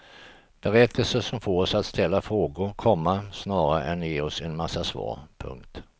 Berättelser som får oss att ställa frågor, komma snarare än ge oss en massa svar. punkt